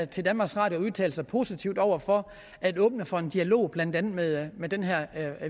til danmarks radio at udtale sig positivt over for at åbne for en dialog blandt andet med med den her